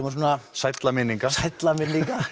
sælla minninga sælla minninga